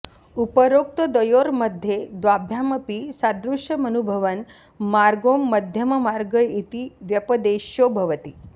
उपरोक्तद्वयोर्मध्ये द्वाभ्यामपि सादृश्यमनुभवन् मार्गों मध्यममार्ग इति व्यपदेश्यो भवति